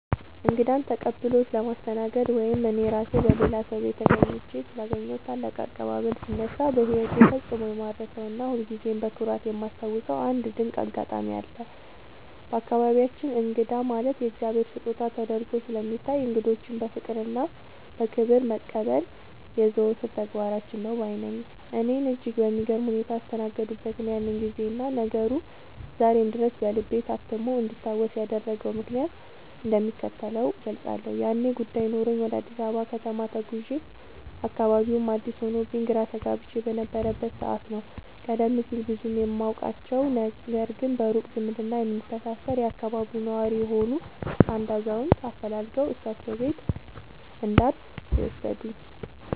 እንግዳን ተቀብሎ ስለማስተናገድ ወይም እኔ ራሴ በሌላ ሰው ቤት ተገኝቼ ስላገኘሁት ታላቅ አቀባበል ሲነሳ፣ በሕይወቴ ፈጽሞ የማልረሳውና ሁልጊዜም በኩራት የማስታውሰው አንድ ድንቅ አጋጣሚ አለ። በአካባቢያችን እንግዳ ማለት የእግዚአብሔር ስጦታ ተደርጎ ስለሚታይ፣ እንግዶችን በፍቅርና በክብር መቀበል የዘወትር ተግባራችን ነው ባይ ነኝ። እኔን እጅግ በሚገርም ሁኔታ ያስተናገዱበትን ያንን ጊዜና ነገሩ ዛሬም ድረስ በልቤ ታትሞ እንዲታወስ ያደረገውን ምክንያት እንደሚከተለው እገልጻለሁ፦ ያኔ ጉዳይ ኖሮኝ ወደ አዲስ አበባ ከተማ ተጉዤ፣ አካባቢውም አዲስ ሆኖብኝ ግራ ተጋብቼ በነበረበት ሰዓት ነው፤ ቀደም ሲል ብዙም የማውቃቸው፣ ነገር ግን በሩቅ ዝምድና የምንተሳሰር የአካባቢው ነዋሪ የሆኑ አንድ አዛውንት አፈላልገው እሳቸው ቤት እንዳርፍ የወሰዱኝ።